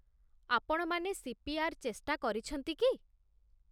ଆପଣମାନେ ସିପିଆର୍ ଚେଷ୍ଟା କରିଛନ୍ତି କି?